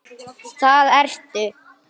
Það ertu.